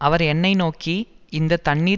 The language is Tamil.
அவர் என்னை நோக்கி இந்த தண்ணீர்